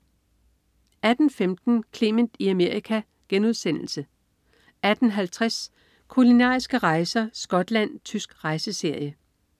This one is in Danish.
18.15 Clement i Amerika* 18.50 Kulinariske rejser: Skotland. Tysk rejseserie